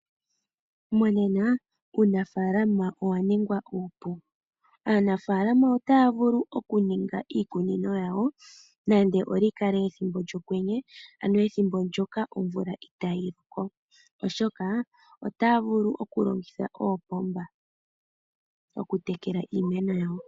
Monena uunafalama owa ningwa upu. Aanafalama otaya vulu oku ninga iikunino yawo nande oli kale ethimbo lyokwenye ano ethimbo ndjoka omvula itayi loko oshoka otaya vulu oku longitha oopomba oku tekela iimeno yawo.